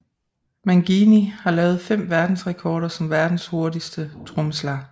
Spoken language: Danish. Mangini har lavet 5 verdensrekorder som Verdens hurtigste trommeslager